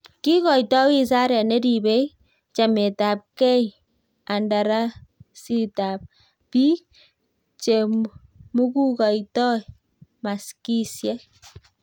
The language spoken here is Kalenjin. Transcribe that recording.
kiikoito wizaret ne ribei chametabgeikandarasitab biik che mukukoitoi maskisiek.